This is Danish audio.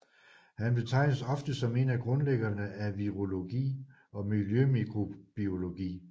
Han betragtes ofte som en af grundlæggerne af virologi og miljømikrobiologi